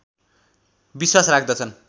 विश्वास राख्दछन्